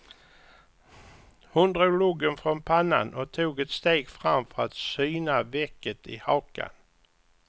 Hon drog luggen från pannan och tog ett steg fram för att syna vecket i hakan.